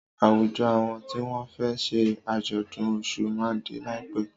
Àwùjọ awọn tí wọn fẹ ṣe àjọ̀dún Ọ̀ṣun ma dé láìpẹ́